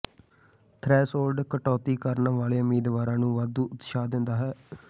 threshold ਕਟੌਤੀ ਕਰਨ ਵਾਲੇ ਉਮੀਦਵਾਰਾਂ ਨੂੰ ਵਾਧੂ ਉਤਸ਼ਾਹ ਦਿੰਦਾ ਹੈ